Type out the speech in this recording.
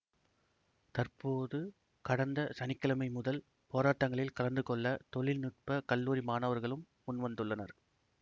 தற்போது கடந்த சனி கிழமை முதல் போராட்டங்களில் கலந்துகொள்ள தொழிற்நுட்பக் கல்லூரி மாணவர்களும் முன்வந்துள்ளனர்